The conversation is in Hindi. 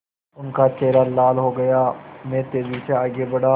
उनका चेहरा लाल हो गया मैं तेज़ी से आगे बढ़ा